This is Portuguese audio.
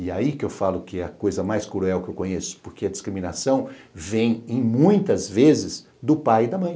E aí que eu falo que a coisa mais cruel que eu conheço, porque a discriminação vem, em muitas vezes, do pai e da mãe.